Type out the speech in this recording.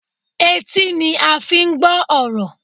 Etí ni a fi ń gbọ́ ọ̀rọ̀.